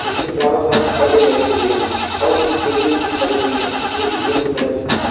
इसके चारो तरफ परदे लगे हुए हैं और कुछ टेबिल्स भी पड़ी हुई है जो की येलो कलर की है।